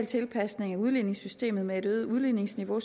tilpasning af udligningssystemet med et øget udligningsniveau